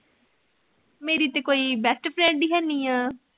ਮੇਰੀ ਤੇ ਕੋਈ best friend ਹੀ ਹੈ ਨਹੀਂ ਆਂ।